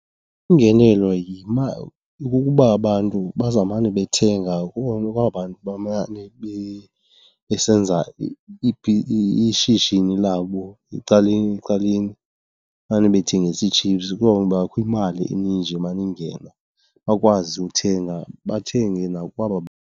Iingenelo kukuba abantu bazawumane bethenga kona kwaba bantu bamane besenza ishishini labo ecaleni, ecaleni, mane bethengisa ii-chips. Kwawubakho imali eninji emane ingena, bakwazi uthenga bathenge nakwaba .